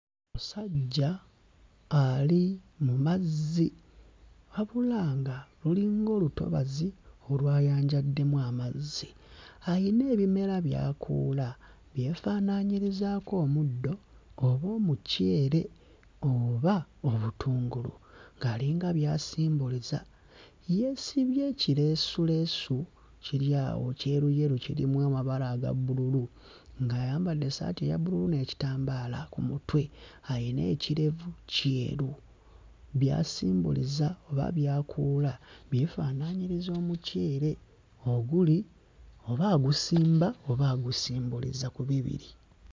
Omusajja ali mu mazzi wabula nga lulinga olutobazi olwayanjaddemu amazzi, ayina ebimera by'akuula byefaananyirizaako omuddo oba omuceere oba obutungulu, ng'alinga by'asimbuliza, yeesibye ekireesuleesu kiri awo kyeruyeru kirimu amabala aga bbululu, ng'ayambadde essaati eya bbululu n'ekitambaala ku mutwe, ayina ekirevu kyeru, by'asimbuliza oba by'akuula byefaanaanyiriza omucere oguli oba agusimba oba agusimbuliza, ku bibiri.